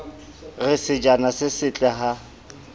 re sejana se setle ha